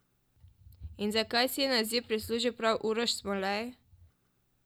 In zakaj si je naziv prislužil prav Uroš Smolej?